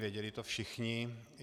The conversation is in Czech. Věděli to všichni.